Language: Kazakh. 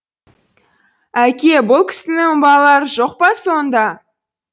әке бұл кісінің балалары жоқ па сонда